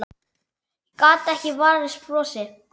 Gat ekki varist brosi.